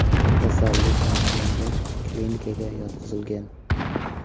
Kasallik aniqlangach, klinikaga yotqizilgan.